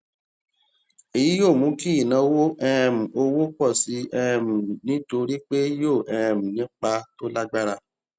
èyí yóò mú kí ìnáwó um owó pọ sí um i nítorí pé yóò um ní ipa tó lágbára